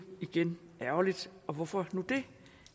igen ærgerligt og hvorfor nu det